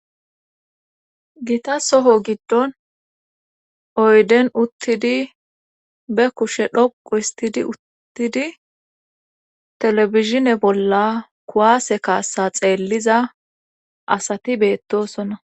Gita soho giddon oyden uttidi be kushe dhoqu istidi uttidi telebizhine bolla kuwaase kaassa xeelliza asati beettosonna.